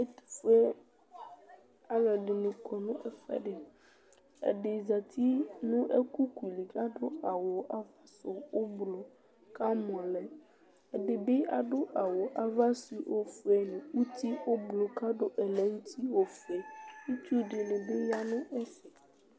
Ɛtʋfue alʋɛdɩnɩ kɔ nʋ ɛfʋɛdɩ Ɛdɩ zati nʋ ɛkʋku li kʋ adʋ awʋ ava sʋ ʋblʋ kʋ amɔ lɛ Ɛdɩ bɩ adʋ awʋ ava sʋ ofue nʋ uti ʋblʋ kʋ adʋ ɛlɛnʋti ofue Itsu dɩnɩ bɩ ya nʋ ɛfɛ